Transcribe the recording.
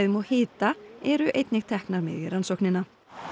og hita eru einnig teknar með í rannsóknina